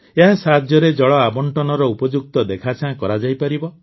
ଏହା ସାହାଯ୍ୟରେ ଜଳ ଆବଣ୍ଟନର ଉପଯୁକ୍ତ ଦେଖାଚାହାଁ କରାଯାଇପାରିବ